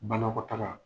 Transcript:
Banakɔtaga